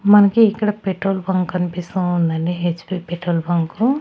మనకి ఇక్కడ petrol bunk కన్పిస్తూ ఉందండి హెచ్ పి పెట్రోల్ బంకు .